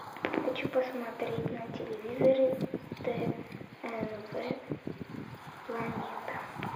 хочу посмотреть на телевизоре тнв планета